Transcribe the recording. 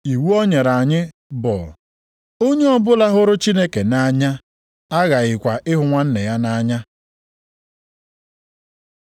Iwu o nyere anyị bụ, “Onye ọbụla hụrụ Chineke nʼanya aghakwaghị ịhụ nwanna ya nʼanya.”